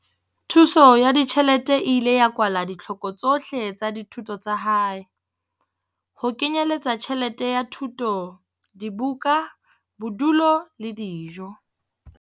Thuso ya ditjhelete e ile ya kwala ditlhoko tsohle tsa dithuto tsa hae, ho kenyeletsa tjhelete ya thuto, dibuka, bodulo le dijo.